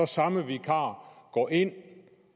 samme vikar går ind